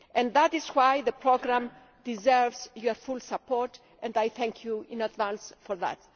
That is why the programme deserves your full support and I thank you in advance for that.